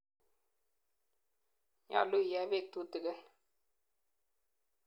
Nyalu iee peek tutikin.